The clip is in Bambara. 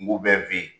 Nguw bɛ fen yen